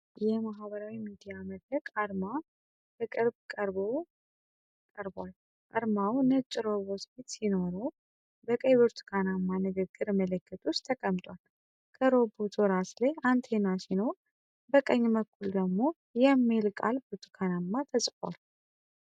የ Reddit ማኅበራዊ ሚዲያ መድረክ አርማ ከቅርብ ቀርቦ ቀርቧል። አርማው ነጭ ሮቦት ፊት ሲኖረው፣ በቀይ ብርቱካናማ ንግግር ምልክት ውስጥ ተቀምጧል። ከሮቦቱ ራስ ላይ አንቴና ሲኖር፣ በቀኝ በኩል ደግሞ 'reddit' የሚለው ቃል በብርቱካናማ ተጽፏል።